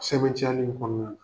Sɛbɛntiyali kɔnɔna na.